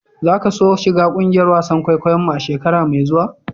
Za ka so shiga kungiyar wasan kwaikwayo mu a'shekara mai zuwa?